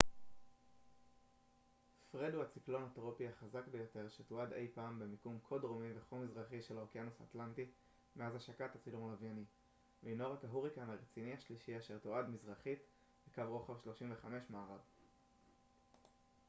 פרד הוא הציקלון הטרופי החזק ביותר שתועד אי פעם במיקום כה דרומי וכה מזרחי של האוקיינוס האטלנטי מאז השקת הצילום הלווייני והנו רק ההוריקן הרציני השלישי אשר תועד מזרחית לקו רוחב 35 מערב